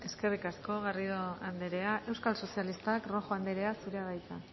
eskerrik asko garrido andrea euskal sozialistak rojo andrea zurea da hitza